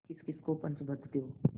किसकिस को पंच बदते हो